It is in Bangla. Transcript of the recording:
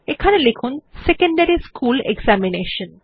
এখানে লিখুন সেকেন্ডারি স্কুল এক্সামিনেশন